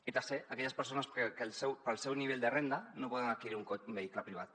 i tercer aquelles persones que pel seu nivell de renda no poden adquirir un vehicle privat